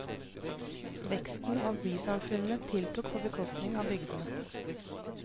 Veksten av bysamfunnene tiltok på bekostning av bygdene.